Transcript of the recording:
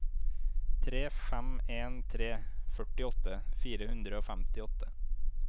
tre fem en tre førtiåtte fire hundre og femtiåtte